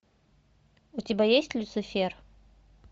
у тебя есть люцифер